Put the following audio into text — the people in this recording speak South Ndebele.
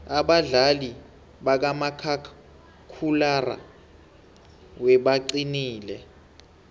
abadlali bakamakhakhulararhwe baqinile